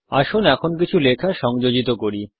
আসুন এখন কিছু লেখা সংযোজিত করি